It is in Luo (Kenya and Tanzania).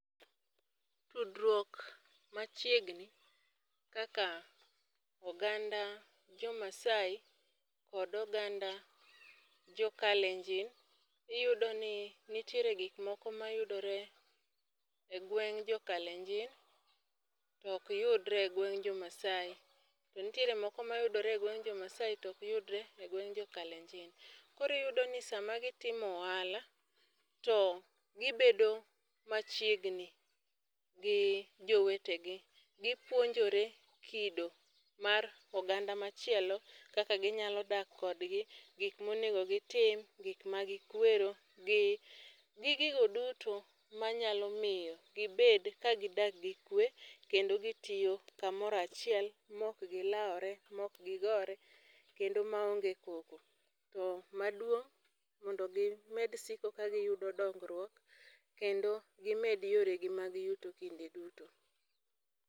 Tudruok machiegni kaka oganda jomaasai kod oganda jokalenjin iyudo ni nitiere gikmoko mayudore e gweng' jokalenjin to okyudre e gweng' jomaasai to ntiere moko mayudre e gweng' jomaasi to okyudre e gweng' jokalenjin, koro iyudo ni sama gitimo ohala to gibedo machiegni gi jowetegi, gipuonjore kido mar oganda machielo kaka ginyalo dak kodgi, gik monego gitim, gik magikwero gi gigo duto manyalo miyo gibed ka gidak gi kwe kendo gitiyo kamoro achiel mok gilawre mokgigore kendo maonge koko. To maduong' mondo gimed siko kagiyudo dongruok kendo gimed yoregi mag yuto kinde duto.